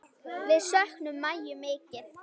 Við söknum Maju mikið.